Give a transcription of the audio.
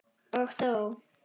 Og þó!